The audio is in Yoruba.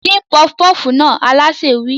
Dín pọfupọ́fù náà! Alásè wí.